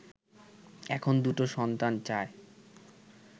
এখন দুটো সন্তান চায়”